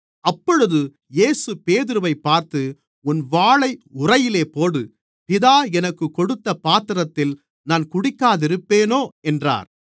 அப்பொழுது இயேசு பேதுருவைப் பார்த்து உன் வாளை உறையிலே போடு பிதா எனக்குக் கொடுத்த பாத்திரத்தில் நான் குடிக்காதிருப்பேனோ என்றார்